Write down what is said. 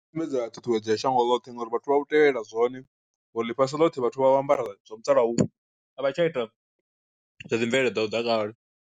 Sumbedza ṱhuṱhuwedzo ya shango ḽoṱhe ngori vhathu vha u tevhelela zwone, uri ḽifhasi ḽothe vhathu vha vho ambara zwa musalauno a vha tsha ita zwa dzi mvelele dzashu dza kale.